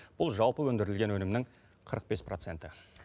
бұл жалпы өндірілген өнімнің қырық бес проценті